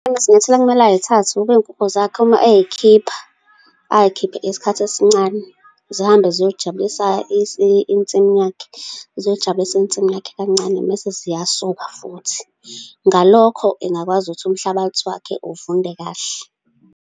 Izinyathelo okumele ay'thathe ukube iy'nkukhu zakhe, uma eyikhipha, ay'khiphe isikhathi esincane, zihambe ziyoy'jabulisa insimi yakhe, ziyoy'jabulisa insimu yakhe kancane, mese ziyasuka futhi. Ngalokho, engakwazi ukuthi umhlabathi wakhe uvunde kahle.